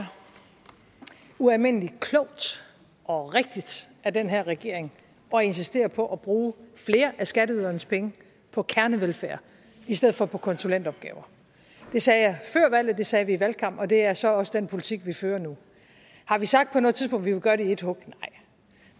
er ualmindelig klogt og rigtigt af den her regering at insistere på at bruge flere af skatteydernes penge på kernevelfærd i stedet for på konsulentopgaver det sagde før valget det sagde vi i valgkampen og det er så også den politik vi fører nu har vi sagt på noget tidspunkt ville gøre det i et hug